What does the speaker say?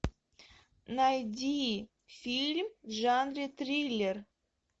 найди фильм в жанре триллер